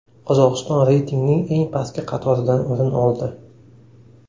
Qozog‘iston reytingning eng pastki qatoridan o‘rin oldi.